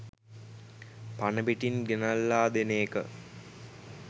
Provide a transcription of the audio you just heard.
පණ පිටින් ගෙනල්ලා දෙන එක.